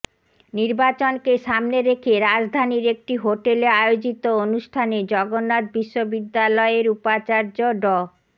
নির্বাচনকে সামনে রেখে রাজধানীর একটি হোটেলে আয়োজিত অনুষ্ঠানে জগন্নাথ বিশ্ববিদ্যালয়ের উপাচার্য ড